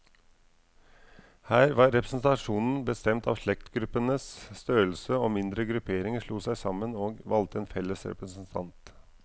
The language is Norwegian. Her var representasjonen bestemt av slektsgruppenes størrelse, og mindre grupperinger slo seg sammen, og valgte en felles representant.